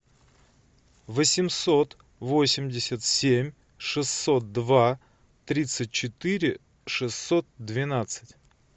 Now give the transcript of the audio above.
восемьсот восемьдесят семь шестьсот два тридцать четыре шестьсот двенадцать